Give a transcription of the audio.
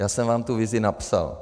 Já jsem vám tu vizi napsal.